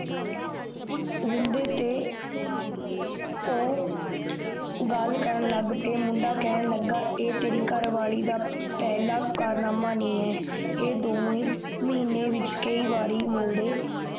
ਜਿੰਨਦਾ ਤੇ ਉ ਗੱਲ ਕਰਨ ਲੱਗ ਗਯਾ ਮੁੰਡਾ ਕੈਨ ਲਗਾ ਏ ਤੇਰੀ ਕਾਰਵਾਲੀ ਦਾ ਪੈਲਾਂ ਕਾਰਨਾਮਾ ਨਹੀਂ ਹੈ ਏ ਦੋਹਵੇਂ ਮਹੀਨੇ ਵਿਚ ਕਯੀ ਬਾਰ ਮਿਲਦੇ